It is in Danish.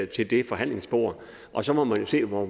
til det forhandlingsbord og så må man jo se hvor